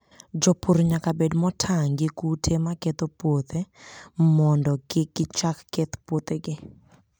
Jopur nyaka bed motang' gi kute ma ketho puothe mondo kik gichak keth puothegi.